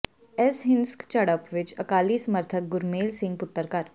ਇਸ ਹਿੰਸਕ ਝੜਪ ਵਿਚ ਅਕਾਲੀ ਸਮਰਥਕ ਗੁਰਮੇਲ ਸਿੰਘ ਪੁੱਤਰ ਕਰ